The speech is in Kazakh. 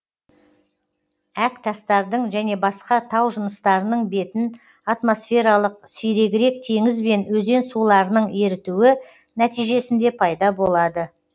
әктастардың және басқа тау жыныстарының бетін атмосфералық сирегірек теңіз бен өзен суларының ерітуі нәтижесінде пайда болады